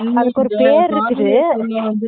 அதுக்கு ஒரு பேர் இருக்குது